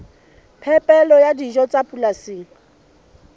phepelo ya dijo tsa polasing